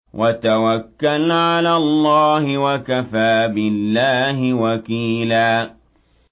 وَتَوَكَّلْ عَلَى اللَّهِ ۚ وَكَفَىٰ بِاللَّهِ وَكِيلًا